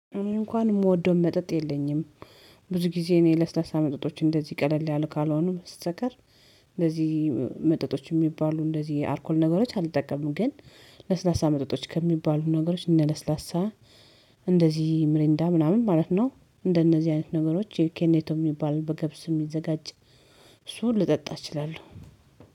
እንኳን የምወደው መጠጥ የለኝም። ብዙ ጊዜ እኔ ለስላሳ መጠጦች እንደዚህ ቀለል ያለ ካልሆኑ በስተቀር እንደዚህ መጠጦች የሚባሉ እንደዚህ አልኮል ነገሮች አልጠቀምም። ግን ለስላሳ መጠጦች ከሚባሉ ነገሮች እነለስላሳ እንደዚህ ምሪንዳ ምናምን ማለት ነው። እንደነዚህ አይነት ነገሮች ይሄ ኬኔቶ የሚባሉ በገብስ የሚዘጋጅ እሱን ልጠጣ እችላለሁ